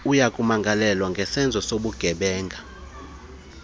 uyakumangalelwa ngesenzo sobugebenga